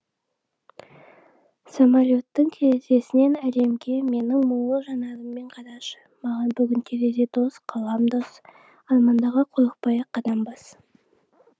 самалөттің терезесінен әлемге менің мұңлы жанарыммен қарашы маған бүгін терезе дос қалам дос армандарға қорықпай ақ қадам бас